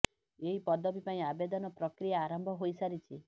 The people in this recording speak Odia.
ଏହି ପଦବୀ ପାଇଁ ଆବେଦନ ପ୍ରକ୍ରିୟା ଆରମ୍ଭ ହୋଇ ସାରିଛି